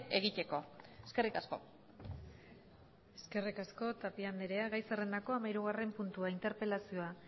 egiteko eskerrik asko eskerrik asko tapia andrea gai zerrendako hamahirugarren puntua interpelazioa